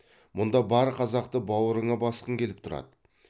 мұнда бар қазақты бауырыңа басқың келіп тұрады